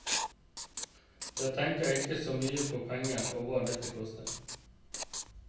Jeg tenker ikke så mye på pengene og hva dette koster.